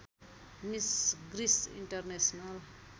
miss Greece international